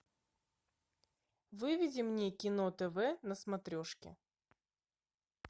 выведи мне кино тв на смотрешке